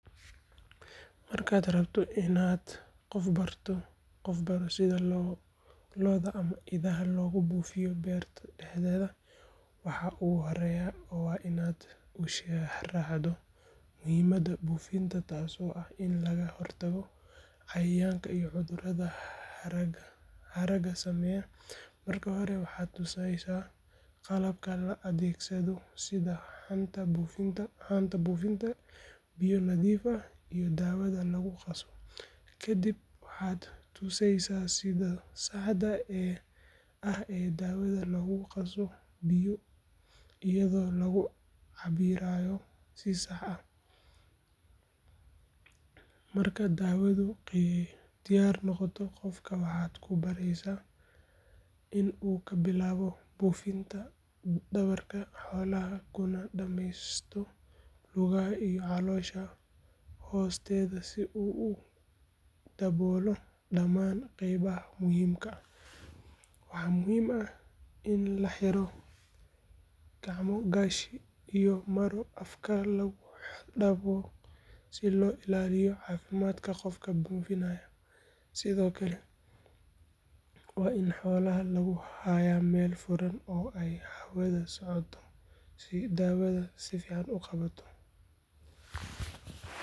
Dhaqanka Masai waa mid qani ku ah hiddo iyo dhaqan soo jireen ah, waxaana ka mid ah sida gaarka ah ee ay u koriiyaan carruurtooda. Bulshada Masai waxay u arkaan korinta ilmaha inay tahay masuuliyad wadaag ah oo qoyska, reerka iyo guud ahaan bulshada ay wada qabato. Hooyada ayaa inta badan mas’uul ka ah daryeelka ilmaha marka uu yar yahay, iyadoo si joogto ah u naas nuujisa una ilaalisa caafimaadkiisa, halka aabaha uu leeyahay doorka ah inuu baro wiilka geesinimo, anshax iyo xirfadaha nolosha sida ilaalinta xoolaha. Ilmaha Masai waxay ka bartaan waalidkood iyo dadka waaweyn dhaqanka, luqadda, heesaha, ciyaaraha dhaqameed iyo sida loola dhaqmo martida. Carruurta waxaa lagu barbaariyaa qadarin waayeelka iyo adeecid xeerarka beesha. Wiilasha marka ay gaaraan da’da qaangaarka, waxaa lagu sameeyaa xaflad loo yaqaan circumcision taasoo calaamad u ah in uu bilaabay marxalad cusub oo.